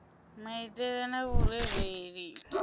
maitele na vhurereli hazwo na